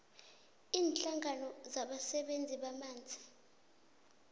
iinhlangano zabasebenzisi bamanzi